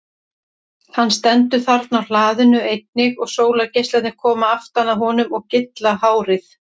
Hann stendur þarna á hlaðinu einnig og sólargeislarnir koma aftan að honum og gylla hárið.